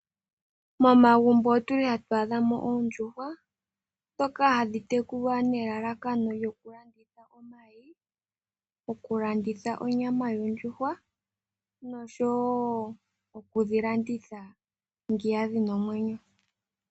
Momagumbo otu li ha tu adhamo oondjuhwa ndhoka hadhi tekulwa nelalakano lyoku landitha. Okulanditha onyama yondjuhwa oshowo okulanditha dhina omwenyo.